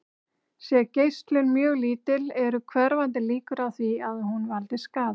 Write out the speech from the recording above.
Sé geislun mjög lítil eru hverfandi líkur á því að hún valdi skaða.